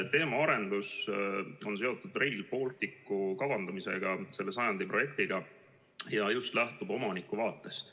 Teemaarendus on seotud Rail Balticu kavandamisega, selle sajandi projektiga, ja ma lähtun just omaniku vaatest.